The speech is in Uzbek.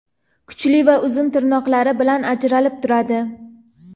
kuchli va uzun tirnoqlari bilan ajralib turadi.